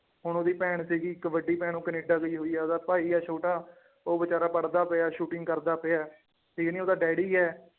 ਹੁਣ ਉਹਦੀ ਭੈਣ ਸੀਗੀ ਇੱਕ ਵੱਡੀ ਭੈਣ ਉਹ ਕਨੇਡਾ ਗਈ ਹੋਈ ਹੈ ਉਹਦਾ ਭਾਈ ਹੈ ਛੋਟਾ ਉਹ ਬੇਚਾਰਾ ਪੜ੍ਹਦਾ ਪਿਆ shooting ਕਰਦਾ ਪਿਆ ਤੇ ਨੀ ਉਹਦਾ ਡੈਡੀ ਹੈ